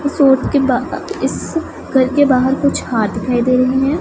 इस घर के बाहर कुछ हाथ दिखाई दे रहे हैं।